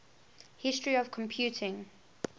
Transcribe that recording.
history of computing